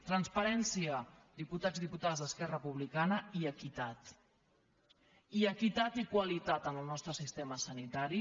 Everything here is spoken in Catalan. transparència diputats i diputades d’esquerra republicana i equitat i equitat i qualitat en el nostre sistema sanitari